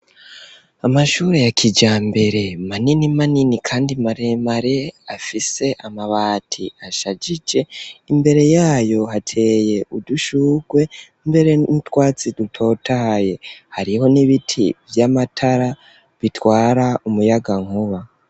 Amashuri ya kijambere manini manini kandi maremare afise amabati ashagige imbere yayo hateye udushugwe mbere n'utwatsi dutotaye hariho n'ibiti vy'amatara bitwara umuyagankuba.